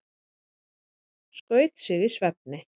Skaut sig í svefni